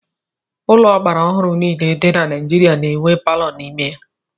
Ụlọ ọgbara ọhụrụ niile dị na Naijiria na-enwe palọ n'ime ha.